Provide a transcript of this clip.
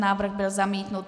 Návrh byl zamítnut.